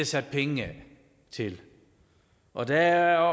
sat penge af til og der